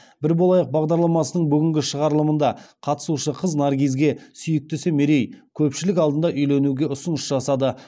бір болайық бағдарламасының бүгінгі шығарылымында қатысушы қыз наргизге сүйіктісі мерей көпшілік алдында үйленуге ұсыныс жасады